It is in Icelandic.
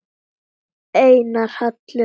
Einar Hallur.